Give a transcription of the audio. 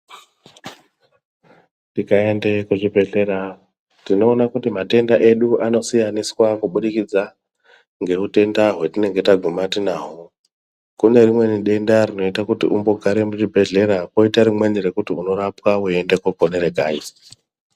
Tikaende kuzvibhedhlera tinoona kuti matenda edu anosiyaniswa kubudikidza ngeutenda hwetinenge taguma tinahwo. Kune rimweni denda rinoite kuti umbogare muchibhedhlera koita rimweni rekuti unorapwa weiende kunoponere kanyi.